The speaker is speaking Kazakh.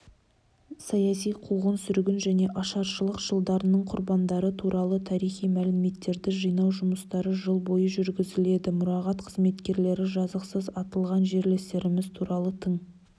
саяси қуғын-сүргін және ашаршылық жылдарының құрбандары туралы тарихи мәліметтерді жинау жұмыстары жыл бойы жүргізіледі мұрағат қызметкерлері жазықсыз атылған жерлестеріміз туралы тың